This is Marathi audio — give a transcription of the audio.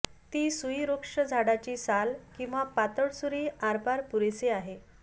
ती सुई वृक्ष झाडाची साल किंवा पातळ सुरी आरपार पुरेसे आहे